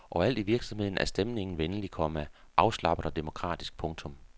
Overalt i virksomheden er stemningen venlig, komma afslappet og demokratisk. punktum